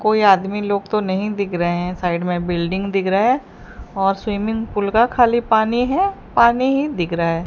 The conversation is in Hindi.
कोई आदमी लोग तो नहीं दिख रहे हैं साइड में बिल्डिंग दिख रहा हैं और स्विमिंग पूल का खाली पानी हैं पानी ही दिख रहा हैं।